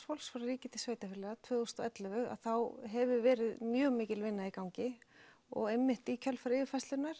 fólks frá ríki til sveitarfélaga tvö þúsund og ellefu þá hefur verið mjög mikil vinna í gangi og í kjölfar yfirferðarinnar